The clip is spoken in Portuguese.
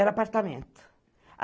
Era apartamento.